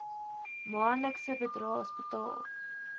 maandelikse bydraes betaal